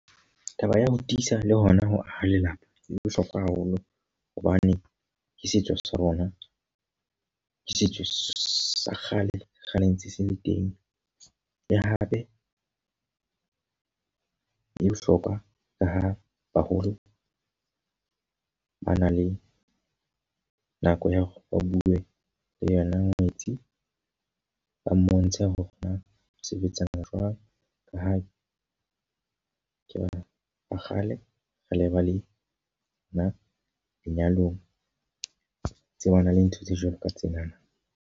Taba ya ho tiisa le hona ho aha lelapa, e bohlokwa haholo hobane ke setso sa rona. Ke setso sa kgale, kgale ntse se le teng. Le hape e bohlokwa ka ha baholo ba na le nako ya hore ba bue le yona ngwetsi. Ba mmontshe hore na sebetsanang jwang ka ha ke batho ba kgale. Re le ba le na lenyalong, tsebana le ntho tse jwalo ka tsenana.